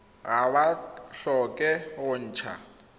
ga ba tlhoke go ntsha